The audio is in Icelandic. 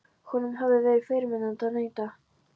Honum hafði verið fyrirmunað að neita.